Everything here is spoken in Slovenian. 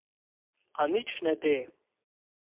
A nič ne de.